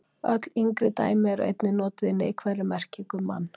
öll yngri dæmi eru einnig notuð í neikvæðri merkingu um mann